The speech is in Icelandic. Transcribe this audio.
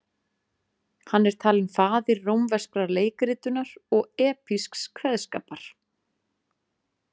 Hann er talinn faðir rómverskrar leikritunar og epísks kveðskapar.